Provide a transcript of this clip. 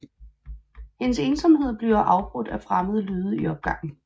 Hendes ensomhed bliver afbrudt af fremmede lyde i opgangen